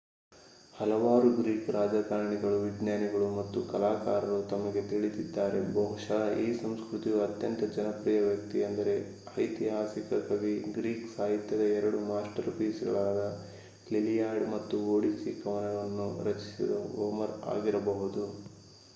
ಹಲವು ಗ್ರೀಕ್‌ ರಾಜಕಾರಣಿಗಳು ವಿಜ್ಞಾನಿಗಳು ಮತ್ತು ಕಲಾಕಾರರು ನಮಗೆ ತಿಳಿದಿದ್ದಾರೆ. ಬಹುಶಃ ಈ ಸಂಸ್ಕೃತಿಯ ಅತ್ಯಂತ ಜನಪ್ರಿಯ ವ್ಯಕ್ತಿಯೆಂದರೆ ಐತಿಹಾಸಿಕ ಅಂಧ ಕವಿ ಗ್ರೀಕ್ ಸಾಹಿತ್ಯದ ಎರಡು ಮಾಸ್ಟರ್‌ಪೀಸ್‌ಗಳಾದ ಲಿಲಿಯಾಡ್ ಮತ್ತು ಒಡಿಸ್ಸಿ ಕವನವನ್ನು ರಚಿಸಿದ ಹೋಮರ್ ಆಗಿರಬಹುದು